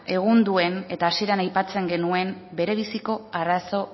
egun duen eta hasieran aipatzen genuen berebiziko arazo